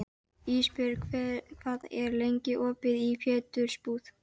Ísbjörg, hvað er lengi opið í Pétursbúð?